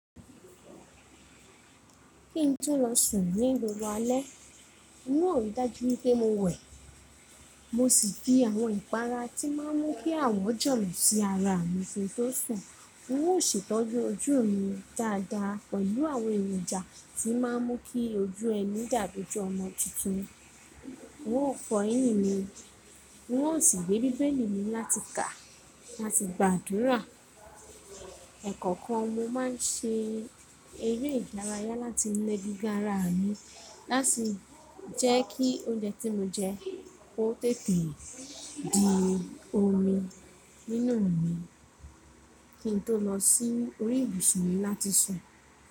Kí n tó lọ sùn ní gbọgbọ̀ alẹ́, n ò rí dájú pé mo wẹ̀, mo sì fi àwọn ìpara tí máa ń mú kí àwọ̀ jọ̀lo sí ara mi ki n tó sùn. N o ṣètọ́jú ojú mi dáadáa pẹ̀lú àwọn èròjà tí máa ń mú kí ojú ẹni dàbi oju ọmọ tuntun, n ó fọ yín mi, n sì gbé bíbélì mi láti kà làti gbàdúrà. Ẹ̀ekọ̀kan mo máa ń ṣe eré ìdárayá láti na egungun ara mi láti jẹ́ kí oúnjẹ tí mo jẹ kó tètè di omi nínú mi kí n tó lọ sí orí ibùsùn mi láti sùn.